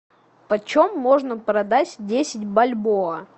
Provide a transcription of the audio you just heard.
почем можно продать десять бальбоа